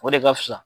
O de ka fisa